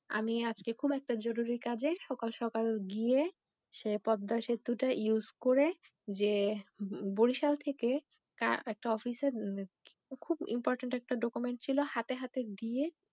আমি আজকে খুব একটা জরুরি কাজে সকাল সকাল গিয়ে সে পদ্মা সেতুটা ইউস করে যে বরিশাল থেকে তার একটা অফিস এর খুব ইম্পরট্যান্ট একটা ডকুমেন্ট ছিল হাতে হাতে দিয়ে